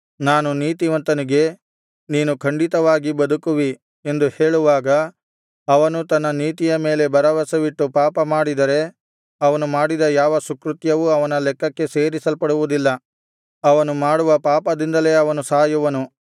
ನಾನು ನೀತಿವಂತನಿಗೆ ನೀನು ಖಂಡಿತವಾಗಿ ಬದುಕುವಿ ಎಂದು ಹೇಳುವಾಗ ಅವನು ತನ್ನ ನೀತಿಯ ಮೇಲೆ ಭರವಸವಿಟ್ಟು ಪಾಪ ಮಾಡಿದರೆ ಅವನು ಮಾಡಿದ ಯಾವ ಸುಕೃತ್ಯವೂ ಅವನ ಲೆಕ್ಕಕ್ಕೆ ಸೇರಿಸಲ್ಪಡುವುದಿಲ್ಲ ಅವನು ಮಾಡುವ ಪಾಪದಿಂದಲೇ ಅವನು ಸಾಯುವನು